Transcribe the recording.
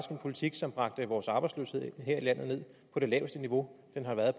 en politik som bragte vores arbejdsløshed her i landet ned på det laveste niveau den har været